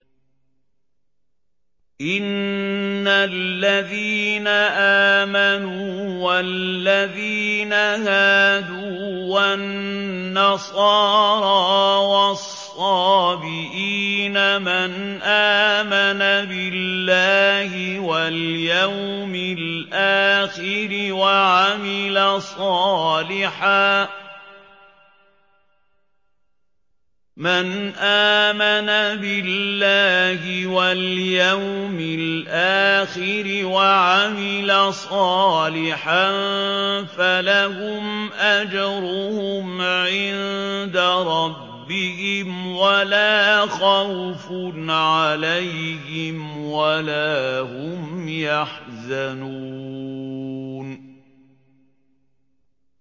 إِنَّ الَّذِينَ آمَنُوا وَالَّذِينَ هَادُوا وَالنَّصَارَىٰ وَالصَّابِئِينَ مَنْ آمَنَ بِاللَّهِ وَالْيَوْمِ الْآخِرِ وَعَمِلَ صَالِحًا فَلَهُمْ أَجْرُهُمْ عِندَ رَبِّهِمْ وَلَا خَوْفٌ عَلَيْهِمْ وَلَا هُمْ يَحْزَنُونَ